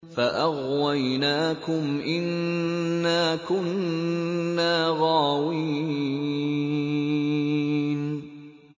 فَأَغْوَيْنَاكُمْ إِنَّا كُنَّا غَاوِينَ